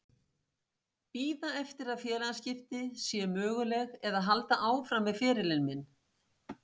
Bíða eftir að félagaskipti séu möguleg eða halda áfram með ferilinn minn?